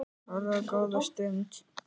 Horfði á það góða stund.